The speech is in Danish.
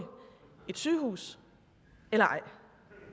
et sygehus eller